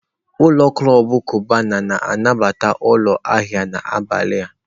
ụlọ klọb Cubana na-anabata ụlọ ahịa n'abalị a.